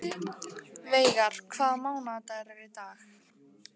Veigar, hvaða mánaðardagur er í dag?